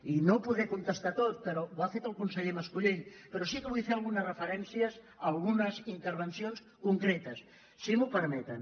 i no podré contestar a tot però ho ha fet el conseller mas·colell però sí que vull fer algunes referències a algunes intervencions concretes si m’ho permeten